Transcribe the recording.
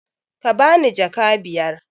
Ka bani jaka biyar!